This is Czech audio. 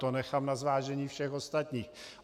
To nechám na zvážení všech ostatních.